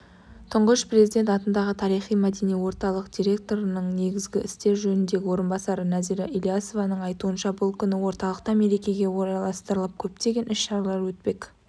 тұңғыш президент атындағы тарихи-мәдени орталық директорының негізгі істер жөніндегі орынбасары нәзира ілиясованың айтуынша бұл күні орталықта мерекеге орайластырылып көптеген іс-шаралар өтпек